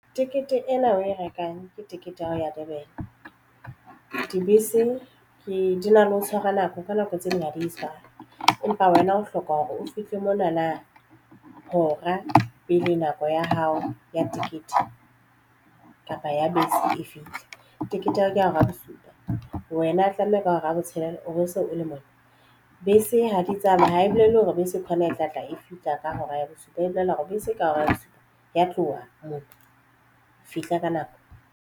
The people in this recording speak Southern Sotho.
Tekete ena o e rekang ke tekete ya ho ya Durban. Dibese ke di na le ho tshwara nako ka nako tse ding nyadisang. Empa wena o hloka hore o fihle monana hora pele nako ya hao ya tikete kapa ya bese e fihla tekete ya ka hora ya bosupa wena tlameha ka hora ya botshelela o bo so o le monna bese ha di tsamaye ha e bolele hore bese kwana e tlatla e fihla ka hora ya bosupae bolela hore bese ka hora ya bosupa ya tloha moo fihla ka nako.